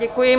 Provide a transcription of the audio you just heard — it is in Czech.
Děkuji.